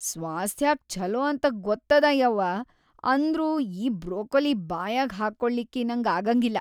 ಸ್ವಾಸ್ಥ್ಯಾಕ್ ಛಲೋ ಅಂತ ಗೊತ್ತದ ಯವ್ವಾ ಅಂದ್ರೂ ಆ ಬ್ರೊಕೊಲಿ ಬಾಯಾಗ ಹಾಕ್ಕೋಳಿಕ್ಕೀ ನಂಗ್ ಆಗಂಗಿಲ್ಲ.